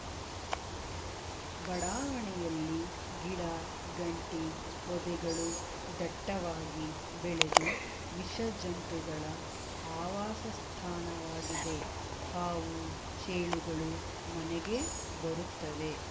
ಬಡಾವಣೆಯಲ್ಲಿ ಗಿಡಗಂಟಿ ಪೊದೆಗಳು ದಟ್ಟವಾಗಿ ಬೆಳೆದು ವಿಷಜಂತುಗಳ ಆವಾಸಸ್ಥಾನವಾಗಿದೆ ಹಾವು ಚೇಳುಗಳು ಮನೆಗೆ ಬರುತ್ತವೆ